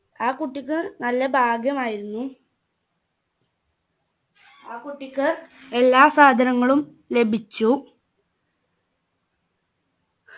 ആ കുട്ടിക്ക് നല്ല ഭാഗ്യമായിരുന്നു ആ കുട്ടിക്ക് എല്ലാ സാധനങ്ങളും ലഭിച്ചു